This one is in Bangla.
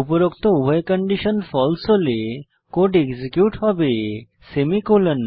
উপরোক্ত উভয় কন্ডিশন ফালসে হলে কোড এক্সিকিউট হবেসেমিকোলন